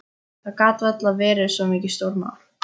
Það gat varla verið neitt stórmál.